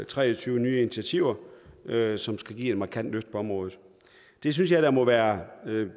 tre og tyve nye initiativer som skal give et markant løft på området det synes jeg da må være